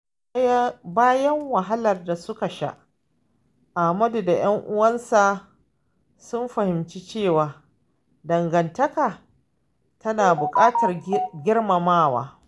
Bayan wahalar da suka sha, Amadu da ‘yan uwansa sun fahimci cewa dangantaka tana buƙatar girmamawa.